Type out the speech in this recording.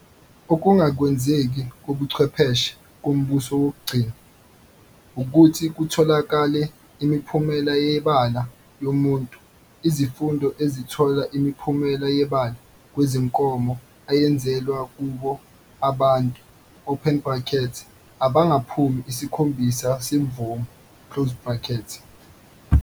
ukungakwenziwa kobuchwepheshe ngumbutho wokugcina ukuthi kutholakale imiphumela yebala yomuntu, izifundo ezithola imiphumela yebala kwezinkomo ayenzelwa kubo abantu open bracket abangaphumi isikhombisa semvumo.